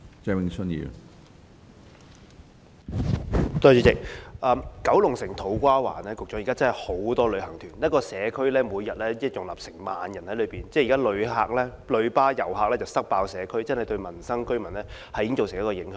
主席，我想向局長說，九龍城的土瓜灣現時真的有很多旅行團，一個社區每天要容納1萬人，現時的"旅巴遊客""塞爆"社區，對民生及居民已經造成影響。